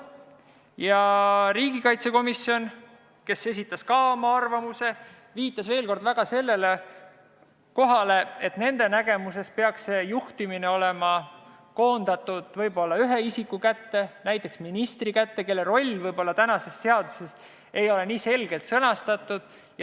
Ja riigikaitsekomisjon, kes esitas samuti oma arvamuse, viitas veel kord sellele, et nende nägemuses peaks juhtimine olema koondatud võib-olla ühe isiku, näiteks ministri kätte, kelle roll ei ole tänases seaduses võib-olla nii selgelt sõnastatud.